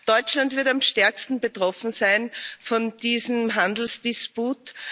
Deutschland wird am stärksten betroffen sein von diesem Handelsdisput.